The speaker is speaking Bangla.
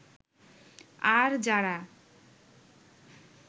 আর যারা